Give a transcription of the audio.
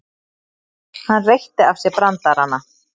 Hann reytti af sér brandarana.